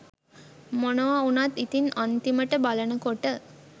මොනව උනත් ඉතිං අන්තිමට බලනකොට